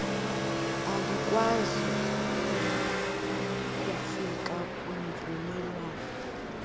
alikwazi kufika kwimvumelwano